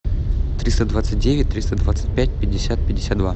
триста двадцать девять триста двадцать пять пятьдесят пятьдесят два